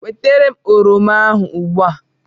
Wetara m oroma ahụ ugbu a!